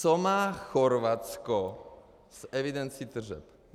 Co má Chorvatsko s evidencí tržeb?